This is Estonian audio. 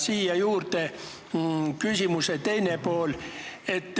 Siia juurde küsimuse teine pool.